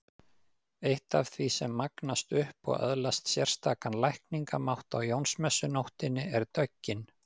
Eitt af því sem magnast upp og öðlast sérstakan lækningamátt á Jónsmessunóttinni er döggin.